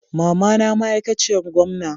mamana ma aikaciyar gomna.